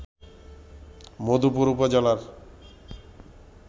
মধুপুর উপজেলার